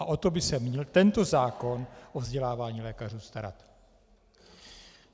A o to by se měl tento zákon o vzdělávání lékařů starat.